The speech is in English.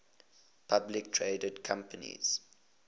publicly traded companies